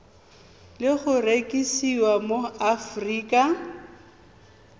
le go rekisiwa mo aforika